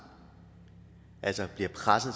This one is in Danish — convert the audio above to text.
altså bliver presset